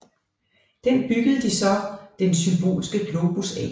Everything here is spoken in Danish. Den byggede de så den Symbolske Globus af